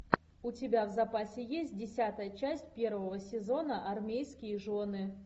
у тебя в запасе есть десятая часть первого сезона армейские жены